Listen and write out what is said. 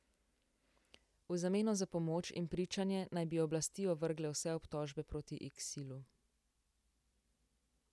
V zameno za pomoč in pričanje naj bi oblasti ovrgle vse obtožbe proti Iksilu.